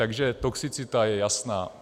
Takže toxicita je jasná.